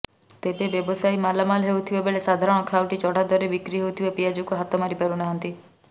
ତେବେ ବ୍ଯବସାୟୀ ମାଲାମାଲ୍ ହେଉଥିବା ବେଳେ ସାଧାରଣ ଖାଉଟି ଚଢା ଦରରେ ବିକ୍ରି ହେଉଥିବା ପିଆଜକୁ ହାତ ମାରିପାରୁନାହାନ୍ତି